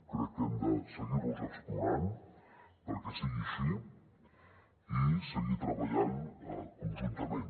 crec que hem de seguir los explorant perquè sigui així i seguir treballant conjuntament